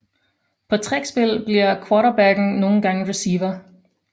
På trick spil bliver quarterbacken nogle gange receiver